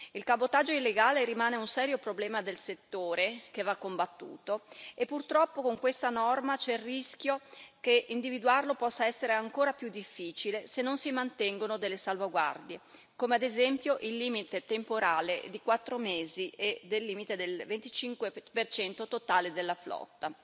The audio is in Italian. Il cabotaggio illegale rimane un serio problema del settore, che va combattuto, e purtroppo con questa norma c'è il rischio che individuarlo possa essere ancora più difficile, se non si mantengono delle salvaguardie come, ad esempio, il limite temporale di quattro mesi e il limite del 25 totale della flotta.